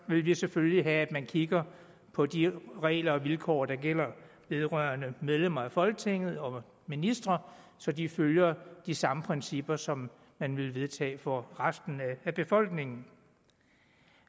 vil vi selvfølgelig have at man kigger på de regler og vilkår der gælder vedrørende medlemmer af folketinget og ministre så de følger de samme principper som man vil vedtage for resten af befolkningen